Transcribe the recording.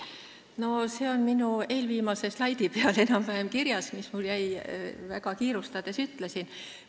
See on enam-vähem kirjas minu eelviimase slaidi peal, mida ma väga kiirustades selgitasin.